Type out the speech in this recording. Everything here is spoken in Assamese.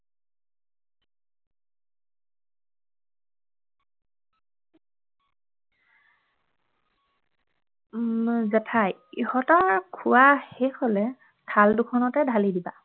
উম জেঠাই - ইহঁতৰ খোৱা শেষ হলে থাল দুখনতে ঢালি দিবা